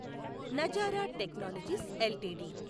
Nazara technologies LTD